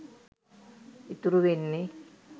ඉතුරු වෙන්නෙ.